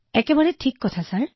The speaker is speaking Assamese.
একেবাৰে সঁচা মহোদয়